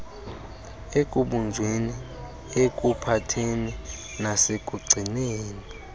ekubunjweni ekuphatheni nasekugcineni